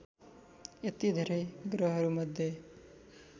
यति धेरै ग्रहहरूमध्ये